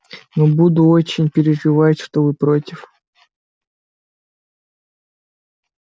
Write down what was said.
но буду очень переживать что вы против